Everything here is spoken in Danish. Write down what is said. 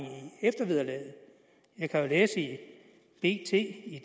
eftervederlaget jeg kan jo læse i bt